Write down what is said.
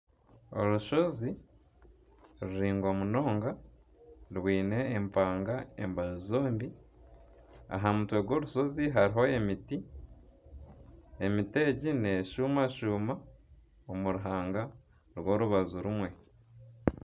Orushozi ruraingwa munonga rwine empanga embaju zombi. Aha mutwe gw'orushozi hariho emiti. Emiti egi neshuumashuuma omu ruhanga rw'orubaju rumwe.